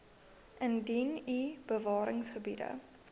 indien u bewaringsgebiede